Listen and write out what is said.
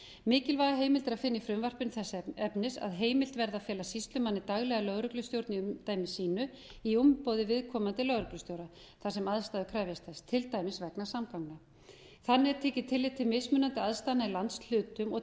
mikilvæga heimild er að finna í frumvarpinu þess efnis að heimilt verði að fela sýslumanni daglega lögreglustjórn í umdæmi sínu í umboði viðkomandi lögreglustjóra þar sem aðstæður krefjast þess til dæmis vegna samgangna þannig er tekið tillit til mismunandi aðstæðna í landshlutum og